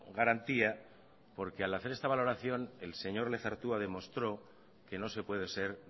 garantía porque al hacer esta valoración el señor lezertua demostró que no se puede ser